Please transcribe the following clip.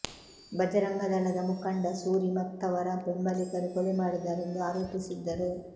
ಭಜರಂಗದಳದ ಮುಖಂಡ ಸೂರಿ ಮತ್ತವರ ಬೆಂಬಲಿಗರು ಕೊಲೆ ಮಾಡಿದ್ದಾರೆ ಎಂದು ಆರೋಪಿಸಿದ್ದರು